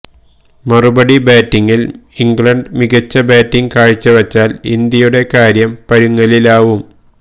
മറുപടി ബാറ്റിങില് ഇംഗ്ലണ്ട് മികച്ച ബാറ്റിങ് കാഴ്ചവച്ചാല് ഇന്ത്യയുടെ കാര്യം പരുങ്ങലിലാവും